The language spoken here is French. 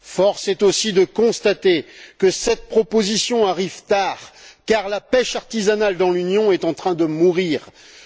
Force est aussi de constater que cette proposition arrive tard car la pêche artisanale dans l'Union est en train de mourir,